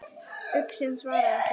Uxinn svaraði ekki.